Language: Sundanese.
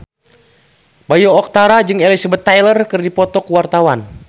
Bayu Octara jeung Elizabeth Taylor keur dipoto ku wartawan